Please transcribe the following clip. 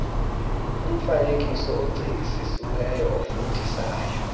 umfaneekiso ocingisisiweyo ofundisayo